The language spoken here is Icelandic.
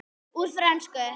Úr frönsku